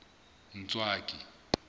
ntswaki